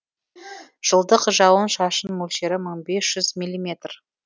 жылдық жауын шашын мөлшері мың бес жүз миллиметр